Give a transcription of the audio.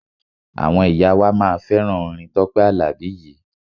Àwọn ìyá wa máa fẹ́ràn orin Tọ́pẹ́ Àlàbí yìí.